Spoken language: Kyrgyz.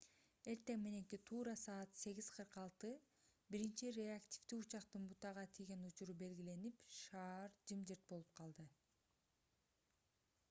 эртең мененки туура саат 08:46 биринчи реактивдүү учактын бутага тийген учуру белгиленип шаар жымжырт болуп калды